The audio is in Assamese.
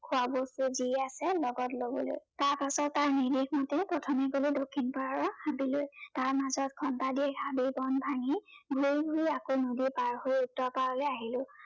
খোৱা বস্তু যি আছে লগত লবলৈ। তাৰপাছত তাৰ নিৰ্দেশ মতে প্ৰথমে গলো দক্ষিণ পাৰৰ হাবিলৈ। তাৰ মাজত ঘন্টা দিয়েক হাবি বন ভাঙি ঘূৰি ঘূৰি আকৌ নদী পাৰ হৈ উত্তৰ পাৰলৈ আহিলো।